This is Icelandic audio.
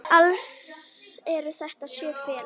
Alls eru þetta sjö félög.